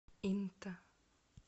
инта